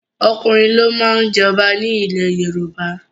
Ọkùnrin ló má ń jẹ ọba nílẹ̀ Yorùbá.